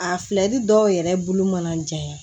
A filɛlɛti dɔw yɛrɛ bulu mana ja